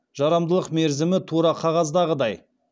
жарамдылық мерзімі тура қағаздағыдай